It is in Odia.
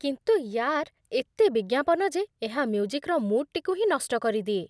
କିନ୍ତୁ ୟାର୍, ଏତେ ବିଜ୍ଞାପନ ଯେ, ଏହା ମ୍ୟୁଜିକ୍‌ର ମୁଡ଼୍‌ଟିକୁ ହିଁ ନଷ୍ଟ କରିଦିଏ।